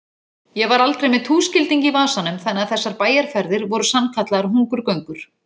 Ég var aldrei með túskilding í vasanum þannig að þessar bæjarferðir voru sannkallaðar hungurgöngur.